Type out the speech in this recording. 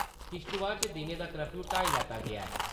किश्तवाड़ च दिनें दा कर्फयू हटाई लैता गेया ऐ।